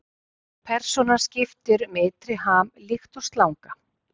Persónan skiptir um ytri ham líkt og slanga.